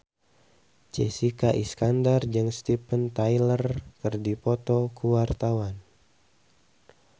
Jessica Iskandar jeung Steven Tyler keur dipoto ku wartawan